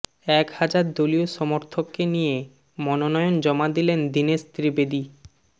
এক হাজার দলীয় সমর্থককে নিয়ে মনোনয়ন জমা দিলেন দীনেশ ত্রিবেদী